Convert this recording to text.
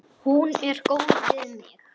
Hún er góð við mig.